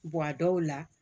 a dɔw la